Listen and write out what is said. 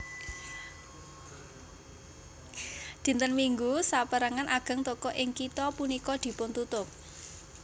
Dinten Minggu sapérangan ageng toko ing kitha punika dipuntutup